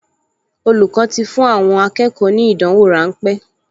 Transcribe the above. Olùkọ́ ti fún àwọn akẹ́kọ̀ọ ní ìdánwò ráńpẹ́